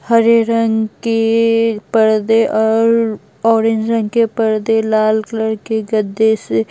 हरे रंग के पर्दे और ऑरेंज रंग के पर्दे लाल कलर के गद्दे से--